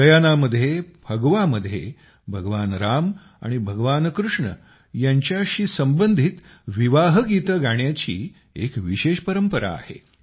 गयानामध्ये फगवामध्ये भगवान राम आणि भगवान कृष्ण यांच्या विवाहाशी संबंधित गीतं गाण्याची एक विशेष परंपरा आहे